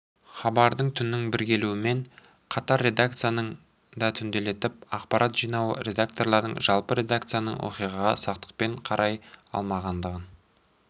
хабардың түннің бір келуімен қатар редакцияның да түнделетіп ақпарат жинауы редактордың жалпы редакцияның оқиғаға сақтықпен қарай алмағандығын